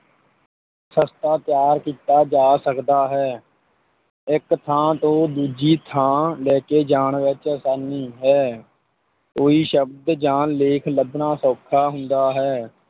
ਸਸਤਾ ਤਿਆਰ ਕੀਤਾ ਜਾ ਸਕਦਾ ਹੈ, ਇੱਕ ਥਾਂ ਤੋਂ ਦੂਜੀ ਥਾਂ ਲੈਕੇ ਜਾਣ ਵਿੱਚ ਆਸਾਨੀ ਹੈ, ਕੋਈ ਸ਼ਬਦ ਜਾਂ ਲੇਖ ਲੱਭਣਾ ਸੌਖਾ ਹੁੰਦਾ ਹੈ,